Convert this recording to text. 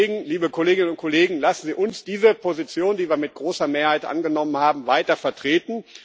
Deswegen, liebe Kolleginnen und Kollegen, lassen Sie uns diese Position, die wir mit großer Mehrheit angenommen haben, weiter vertreten.